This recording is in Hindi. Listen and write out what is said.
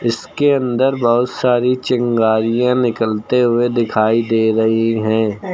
इसके अंदर बहोत सारी चिंगारियां निकलते हुए दिखाई दे रही है।